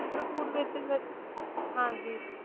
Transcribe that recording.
ਚਿਤਰਕੂਟ ਵਿੱਚ ਹਾਂ ਜੀ